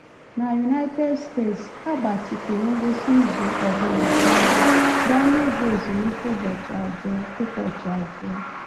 N'United States, a gbatịkwuru ngwụsị izu ọbụna karịa, gaa n’ịbụ ezumike ụbọchị abụọ. ụbọchị abụọ.